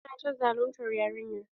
Su na ta zaluntar yarinyar.